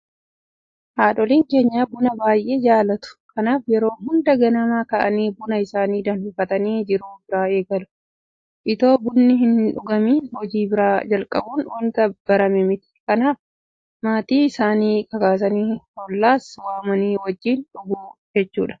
Haadholiin keenya buna baay'ee jaalatu. Kanaaf yeroo hunda ganama ka'anii buna isaanii danfifatanii jiruu biraa eegalu. Itoo bunni hindhugamin hojii biraa jalqabuun waanta barame miti. Kanaaf maatii isaanii kakaasanii hollaas waamanii wajjin dhugu jechuudha.